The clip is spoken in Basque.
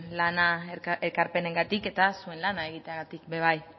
ekarpenengatik eta zuen lana egiteagatik ere bai